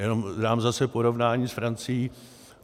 Jenom dám zase porovnání s Francií.